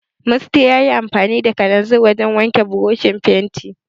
Musty yayi amfani da kalanzir wajen wanke burushin fenti.